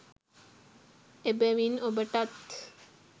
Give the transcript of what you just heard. එබැවින් ඔබටත්